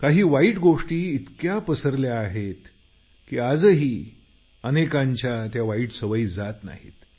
परंतु वाईट सवयी इतक्या पसरल्या आहेत की आजही अनेकांची त्या वाईट सवयी जात नाहीत